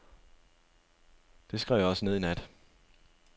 Det skrev jeg også ned i nat.